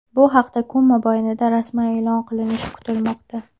Bu haqda kun mobaynida rasman e’lon qilinishi kutilmoqda.